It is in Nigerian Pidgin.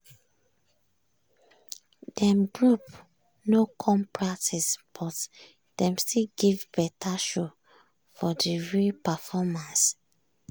dem group no come practice but dem still give better show for de real performance.